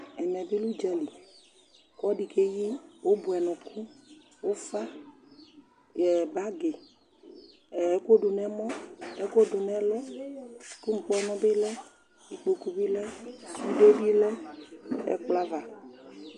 Ɛmɛ bɩ lɛ ʋdza li kʋ ɔlɔdɩ keyi ʋbʋɛnʋkʋ: ʋfa ɛ bagɩ, ɛ ɛkʋdʋ nʋ ɛmɔ, ɛkʋdʋ nʋ ɛlʋ lʋ ŋkpɔnʋ bɩ lɛ, ikpoku bɩ lɛ, sude bɩ lɛ nʋ ɛkplɔ ava